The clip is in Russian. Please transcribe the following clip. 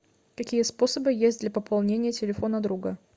какие способы есть для пополнения телефона друга